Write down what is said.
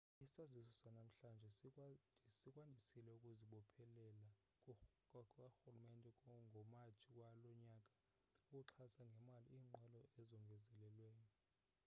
isaziso sanamhlanje sikwandisile ukuzibophelela kukarhulumente ngomatshi walo nyaka ukuxhasa ngemali iinqwelo ezongezelelweyo